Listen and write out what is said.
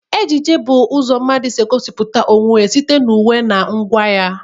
Ejiji bụ ụzọ mmadụ si egosipụta onwe ya site na uwe na ngwa ya.